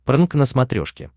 прнк на смотрешке